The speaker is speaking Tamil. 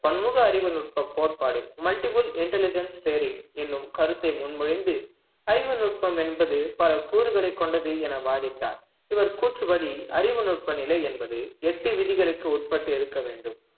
பன்முக அறிவுநுட்ப கோட்பாடு multiple intelligence theory என்னும் கருத்தை முன்மொழிந்து அறிவு நுட்பம் என்பது பல கூறுகளைக் கொண்டது என வாதிட்டார் இவர் கூற்றுப்படி அறிவுநுட்ப நிலை என்பது எட்டு விதிகளுக்கு உட்பட்டு இருக்க வேண்டும்